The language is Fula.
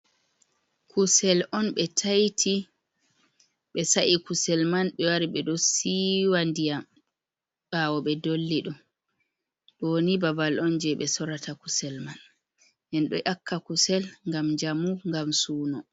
Kusel on ɓe ta'iti ɓe sa’i kusel man ɓe wari ɓe ɗo siwa ndiyam ɓawo ɓe dolli ɗum ɗow ni babal on je ɓe sorata kusel man en ɗo yaka kusel ngam njamu ngam suno.